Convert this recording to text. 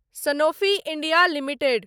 Sanofi India limited